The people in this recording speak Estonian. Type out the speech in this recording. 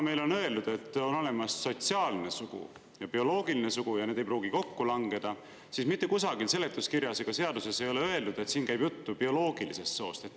Meile on öeldud, et on olemas sotsiaalne sugu ja bioloogiline sugu ja need ei pruugi kokku langeda, aga seletuskirjas ega seaduses ei ole kusagil öeldud, et siin käib jutt bioloogilisest soost.